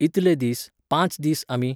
इतले दीस, पांच दीस आमी